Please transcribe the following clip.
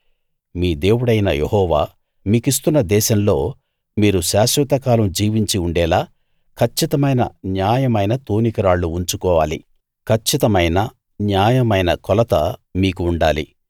మీ దేవుడైన యెహోవా మీకిస్తున్న దేశంలో మీరు శాశ్వతకాలం జీవించి ఉండేలా కచ్చితమైన న్యాయమైన తూనికరాళ్లు ఉంచుకోవాలి కచ్చితమైన న్యాయమైన కొలత మీకు ఉండాలి